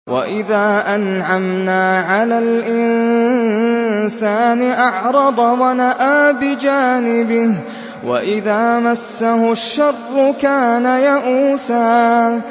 وَإِذَا أَنْعَمْنَا عَلَى الْإِنسَانِ أَعْرَضَ وَنَأَىٰ بِجَانِبِهِ ۖ وَإِذَا مَسَّهُ الشَّرُّ كَانَ يَئُوسًا